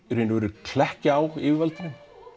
í raun og veru klekkja á yfirvaldinu